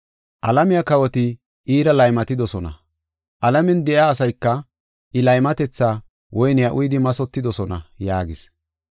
Alamiya kawoti iira laymatidosona; alamen de7iya asayka I laymatetha woyniya uyidi mathotidosona” yaagis.